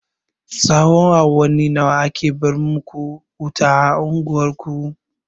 Tsahon awanni nawa ake bar maku wuta a unguwar ku?